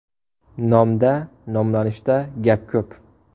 Nomda, nomlanishda gap ko‘p!